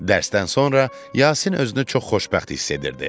Dərsdən sonra Yasin özünü çox xoşbəxt hiss edirdi.